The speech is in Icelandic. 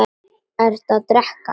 Ertu að drekka?